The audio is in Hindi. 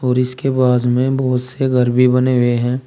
और इसके पास में बोहोत से घर भी बने हुए हैं।